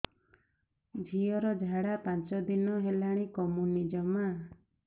ଝିଅର ଝାଡା ପାଞ୍ଚ ଦିନ ହେଲାଣି କମୁନି ଜମା